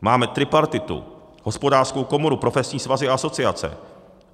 Máme tripartitu, Hospodářskou komoru, profesní svazy a asociace.